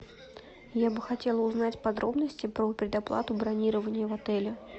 я бы хотела узнать подробности про предоплату бронирования в отеле